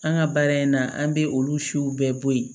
An ka baara in na an bɛ olu siw bɛɛ bɔ yen